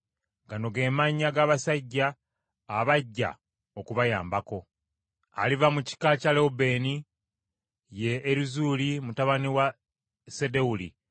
“Gano ge mannya g’abasajja abajja okubayambako: “Aliva mu kika kya Lewubeeni ye Erizuuli mutabani wa Sedewuli;